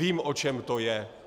Vím, o čem to je.